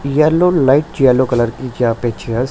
yellow light yellow colour की यहां पे चेयर्स --